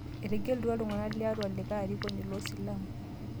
Etegelutua ltung'ana le Arua likae arikoni loo silamu